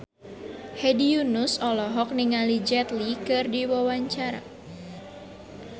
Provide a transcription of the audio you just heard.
Hedi Yunus olohok ningali Jet Li keur diwawancara